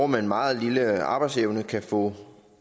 med en meget lille arbejdsevne kan få